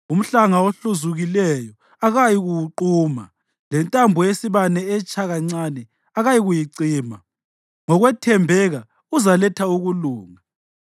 Umhlanga ohluzukileyo akayikuwuquma, lentambo yesibane etsha kancane akayikuyicima. Ngokwethembeka uzaletha ukulunga;